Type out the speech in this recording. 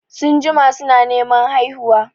Sun jima su na Neman haihuwa